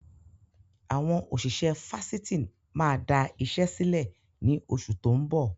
Àwọn òṣìṣẹ́ Fásitì máa da ìṣe sílẹ̀ ni oṣù tó ń bọ̀.